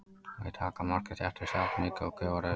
Við daggarmarkið þéttist jafnmikið og gufar upp.